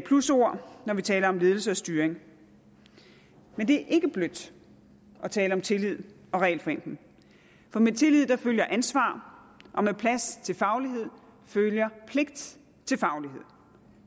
plusord når vi taler om ledelse og styring men det er ikke blødt at tale om tillid og regelforenkling for med tillid følger ansvar og med plads til faglighed følger pligt til faglighed